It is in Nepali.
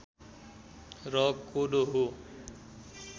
र कोदो हो